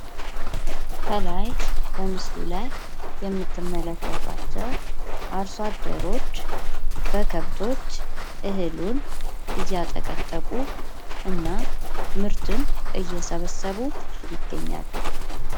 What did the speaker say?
ከላይ በምስሉ ላይ የምትመለከቷቸው አርሶ አደሮች በከብቶች እህሉን እያጠቀጠቁ እና ምርትን እየሰበሰቡ ይገኛሉ።